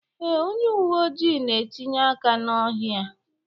Ee, onye uwe ojii na-etinye aka na ohi a